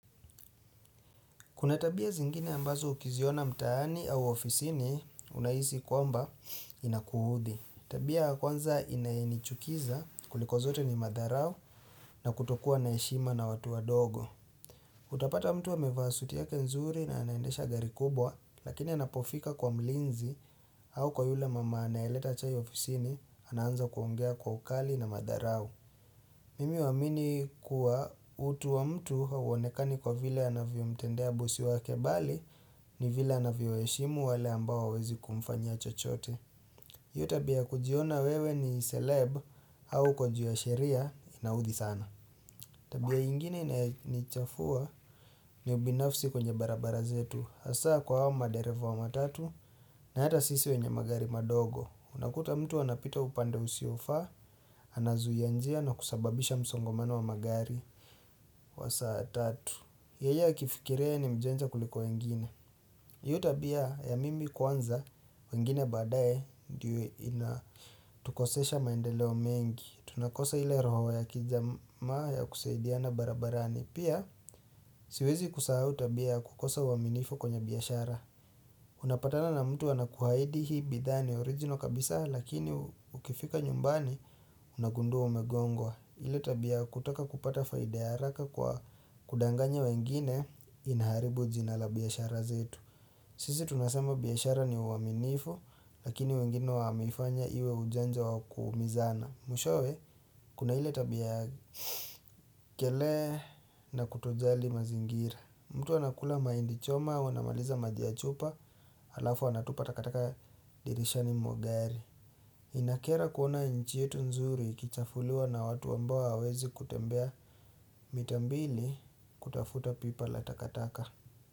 Kuna tabia zingine ambazo ukiziona mtaani au ofisini unahisi kwamba inakuudhi. Tabia ya kwanza inaenichukiza kuliko zote ni madharau na kutokua na heshima na watu wa dogo. Utapata mtu amevasuti ya kenzuri na anaendesha gari kubwa lakini anapofika kwa mlinzi au kwa yule mama anaeleta chai ofisini anaanza kuongea kwa ukali na madharau. Mimi huwamini kuwa utu wa mtu hauonekani kwa vile anaviyo mtendea bosi wa kebali ni vile anaviyo yeshimu wale ambao hawawezi kumfanyia chochote. Hiyo tabia kujiona wewe ni seleb au uko ju ya sheria inaudhi sana. Tabia ingine ni chafua ni ubinafsi kwenye barabara zetu. Asa kwa wao madereva wa matatu na hata sisi wenye magari madogo. Unakuta mtu wanapita upanda usiofa, anazuianjia na kusababisha msongomano wa magari. Wasaa tatu Yeyea kifikiria ni mjanja kuliko wengine hiyo tabia ya mimi kwanza wengine badaye Ndiwe ina tukosesha maendeleo mengi Tunakosa hile roho ya kijama ya kusaidiana barabarani Pia. Siwezi kusahau tabia kukosa uaminifu kwenye biyashara. Unapatana na mtu ana kuhahidi hii bidhani orijino kabisa Lakini ukifika nyumbani unagundua umegongwa ile tabia kutoka kupata faida ya araka kwa kudanganya wengine. Inaharibu jinala biyashara zetu Sisi tunasama biyashara ni uaminifu. Lakini wengine wamefanya iwe ujanja wakumizana Mwishowe. Kuna ili tabia ya Kele na utojali mazingira mtu wana kula maindi choma wana maliza majiachupa alafu wana tupa takataka dirishani mwagari. Inakera kuona nchi yetu nzuri kichafuliwa na watu ambao wawezi kutembea mitambili. Kutafuta pipa latakataka.